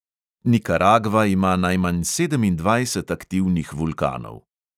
Nikaragva ima najmanj sedemindvajset aktivnih vulkanov.